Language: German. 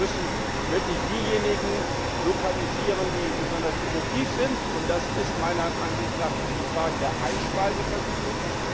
Wir müssen wirklich diejenigen lokalisieren, die besonders effektiv sind, und das ist meiner Ansicht nach die Frage der Einspeisevergütung.